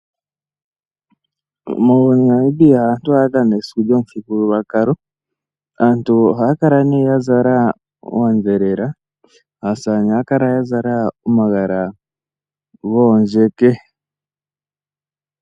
Mo Namibia aantu ohaya dhana esiku lyomuthigululwakalo. Aantu ohaya kala ne ya zala oondhelela. Aasamane ohaya kala ya zala omagala goondjeke.